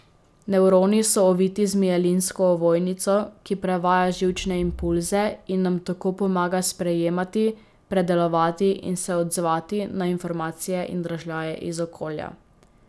Nevroni so oviti z mielinsko ovojnico, ki prevaja živčne impulze in nam tako pomaga sprejemati, predelovati in se odzvati na informacije in dražljaje iz okolja.